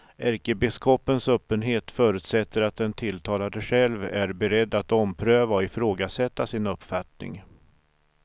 Ärkebiskopens öppenhet förutsätter att den tilltalade själv är beredd att ompröva och ifrågasätta sin uppfattning.